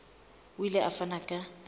o ile a fana ka